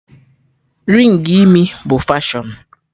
Rịng imi bụ fashọn